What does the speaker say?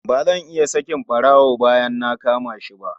Ba zan iya sakin ɓarawo bayan na kama shi ba.